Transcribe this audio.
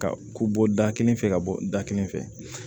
Ka ko bɔ da kelen fɛ ka bɔ da kelen fɛ